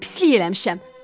Mən pislik eləmişəm.